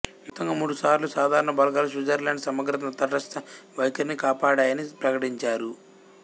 మొత్తంగా మూడు సార్లు సాధారణ బలగాలు స్విట్జర్లాండ్ సమగ్రతను తటస్థ వైఖరిని కాపాడాయని ప్రకటించారు